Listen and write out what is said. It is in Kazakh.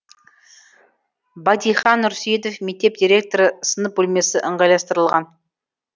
батихан нұрсейітов мектеп директоры сынып бөлмесі ыңғайластырылған